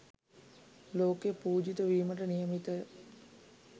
ලෝක පූජිත වීමට නියමිතය.